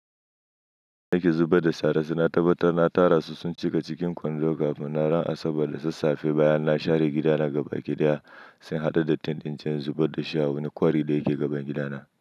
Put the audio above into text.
Da nake zubar da shara, sai na tabbatar na tara su sun cika cikin kwando kafin na ran asabar da sassafe bayan na share gida na gaba kidiya, sai na haɗu da tentinciyin zubar da shi a wani kwari da yake gaban gidana.